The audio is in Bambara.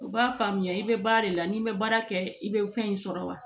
U b'a faamuya i bɛ baara de la n'i bɛ baara kɛ i bɛ fɛn in sɔrɔ wa